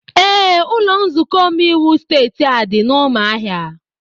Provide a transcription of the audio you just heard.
Ee, ụlọ nzukọ omeiwu steeti a dị n'ụmụahia